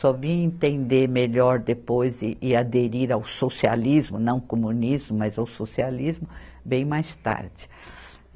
Só vim entender melhor depois e e aderir ao socialismo, não comunismo, mas ao socialismo bem mais tarde.